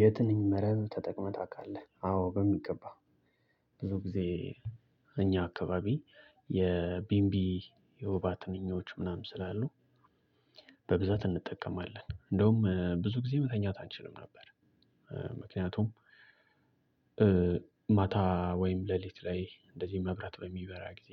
የትንኝ መረብ ተጠቅመህ ታውቃለህ? አወ በሚገባ። ብዙ ጊዜ በእኛ አካባቢ የቢንቢ የወባ ትንኞች ምናምን ስላሉ በብዛት እንጠቀማለን እንደውም ብዙ ጊዜ መተኛት አንችልም ነበር። ምክንያቱም ማታ ወይም ሌሊት ላይ እንደዚህ መብራት በሚበራ ጊዜ